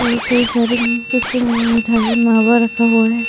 और कई सारे मम कुछ म-मिठाई मावा रखा हुआ है।